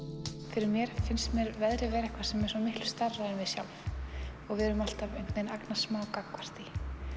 fyrir mér finnst mér veðrið vera eitthvað sem er svo miklu stærra en við sjálf og við erum alltaf einhvern veginn agnarsmá gagnvart því